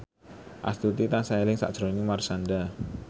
Astuti tansah eling sakjroning Marshanda